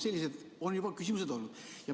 Sellised küsimused on juba olnud.